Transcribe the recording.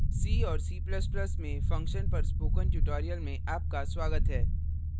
c और c ++ में functions पर spoken tutorial में आपका स्वागत है